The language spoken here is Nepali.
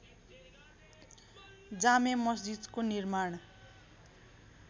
जामे मस्जिदको निर्माण